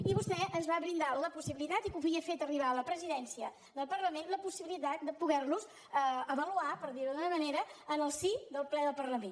i vostè ens va brindar la possibilitat i l’havia fet arribar a la presidència del parlament de poder los avaluar per dir ho d’alguna manera en el si del ple del parlament